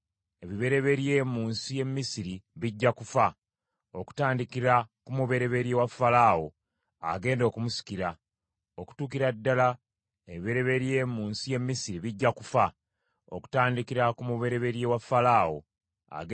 Ebibereberye mu nsi y’e Misiri bijja kufa, okutandikira ku mubereberye wa Falaawo agenda okumusikira, okutuukira ddala ku mubereberye w’omuwala omuzaana asa ku lubengo; era n’ebibereberye byonna eby’ebisolo.